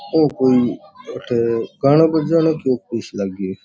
ओ कोई एठे गाना बजाना सो लागो।